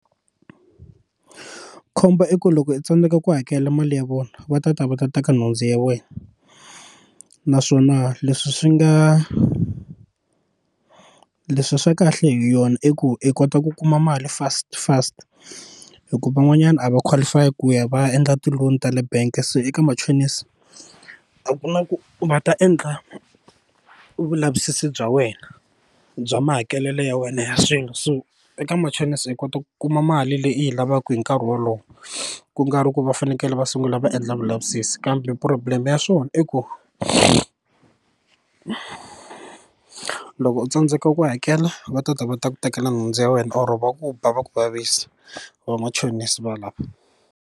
Khombo i ku loko i tsandeka ku hakela mali ya vona va ta ta va ta teka nhundzu ya wena naswona leswi swi nga leswi swa kahle hi yona i ku i kota ku kuma mali fast fast hikuva van'wanyana a va qualify ku ya va ya endla ti loan ta le bank se eka machonisi a ku na ku va ta endla vulavisisi bya wena bya mahakelelo ya wena ya swilo so eka machonisi i kota ku kuma mali leyi u yi lavaka hi nkarhi wolowo ku karhi ku va fanekele va sungula va endla vulavisisi kambe problem ya swona i ku loko u tsandzeka ku hakela va ta ta va ta ku tekela nhundzu ya wena or va ku ba va ku vavisa vamachonisi va lava.